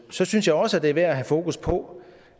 så synes jeg også det er værd at have fokus på